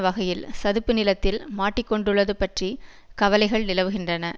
வகையில் சதுப்பு நிலத்தில் மாட்டிக்கொண்டுள்ளது பற்றி கவலைகள் நிலவுகின்றன